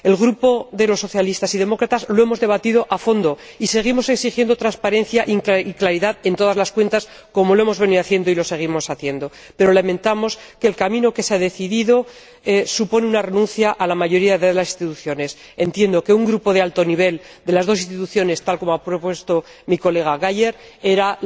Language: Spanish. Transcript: En el Grupo de la Alianza Progresista de Socialistas y Demócratas en el Parlamento Europeo lo hemos debatido a fondo y seguimos exigiendo transparencia y claridad en todas las cuentas, como hemos venido haciendo y seguimos haciendo, pero lamentamos que el camino que se ha decidido suponga una renuncia a la mayoría de las instituciones. Entiendo que un grupo de alto nivel de las dos instituciones —tal como ha propuesto mi colega Geier— era